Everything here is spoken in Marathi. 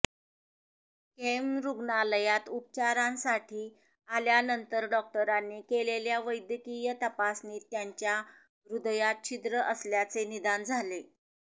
केईएम रुग्णालयात उपचारांसाठी आल्यानंतर डॉक्टरांनी केलेल्या वैद्यकीय तपासणीत त्यांच्या हृदयात छिद्र असल्याचे निदान झाले